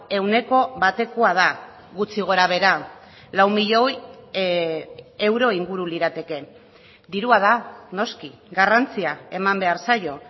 ehuneko batekoa da gutxi gora behera lau milioi euro inguru lirateke dirua da noski garrantzia eman behar zaio